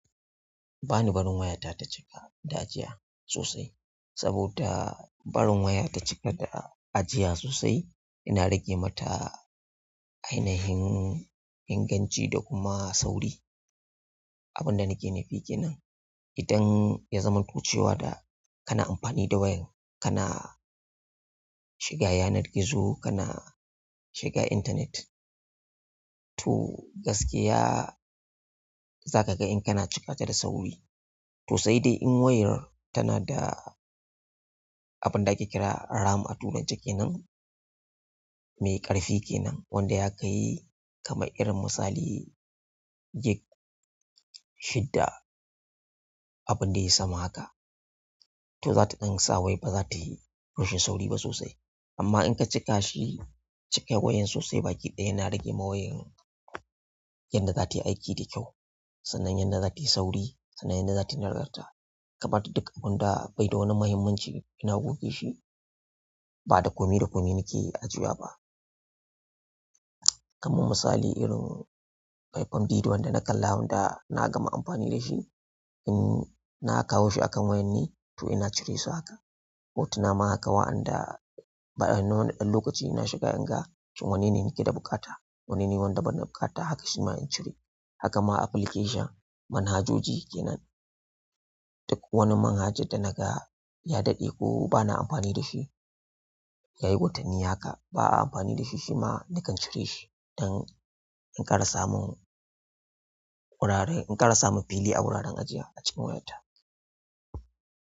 Banibarin wayata ta cika da ajiya sosai saboda barin wayata cika da ajiya sosai yana rage mata ainihin inganci da kuma sauri. Abin da nake nufi kenan, idan ya zama ku cewa da kana amfani da wayan, kana shiga yanar gizo, kana shiga internet. To gaskiya za ka ga in kana cika ta da sauri. To sai dai in wayar tana da abin da ake kira RAM a turance kenan, mai ƙarfi kenan wanda ya kai kamar irin misali gig shidda, abun da ya yi sama haka. To za ta ɗan sa wai ba za ta yi rashin sauri ba sosai. Amma in ka cika shi, cika wayan sosai, baki ɗaya yana rage ma wayar yadda za ta yi aiki da kyau, sanan yadda za ta yi sauri, sanan yadda za ta yi nagarta ka ɓata duk abin da bai da wani muhimmanci ina goge shi. Ba da komi da komi nake ajiyewa ba. Kaman misali irin faifan bidiyo wanda na kalla, wanda na gama amfani da shi, in na kawo shi akan wayar ne to ina cire su haka. Hotuna ma haka. Wa'anda ba'a nuna ɗan lokacin da nashiga inga shin wannene nakeda buƙata shima in cire. Haka ma application, manhajoji kenan. Duk wani manhaja da naga ya daɗe ko bana amfani da shi, ya yi watanni haka ba a amfani da shi shima nakan cire shi don in ƙara samun wurare, in ƙara samun fili a wuraren ajiya a cikin wayata.